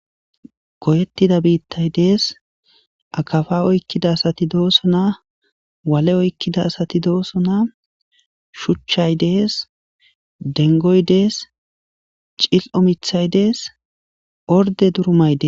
goyettida biittay dees akafa oykkida asati doosona wale oykkida asati doosona shuchchay dees dengoy dees cil7o mithay dees orde durumay des